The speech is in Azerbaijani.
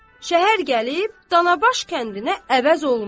Şəhər gəlib Canabaş kəndinə əvəz olmaz.